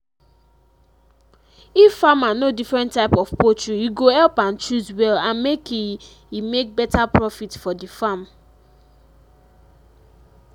if farmer know different type of poultry e go help am choose well and make e e make better profit for the farm